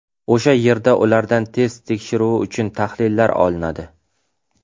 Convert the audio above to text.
O‘sha yerda ulardan test tekshiruvi uchun tahlillar olinadi.